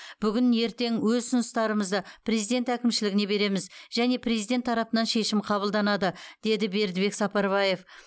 бүгін ертең өз ұсыныстарымызды президент әкімшілігіне береміз және президент тарапынан шешім қабылданады деді бердібек сапарбаев